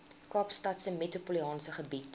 kaapstadse metropolitaanse gebied